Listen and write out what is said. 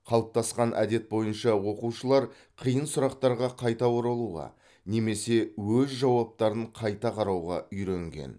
қалыптасқан әдет бойынша оқушылар қиын сұрақтарға қайта оралуға немесе өз жауаптарын қайта қарауға үйренген